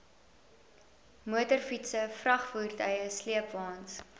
motorfietse vragvoertuie sleepwaens